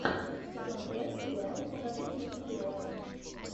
сезон пять сериал покажите мне героя